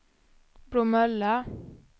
Bromölla